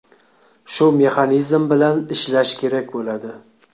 Shu mexanizm bilan ishlash kerak bo‘ladi.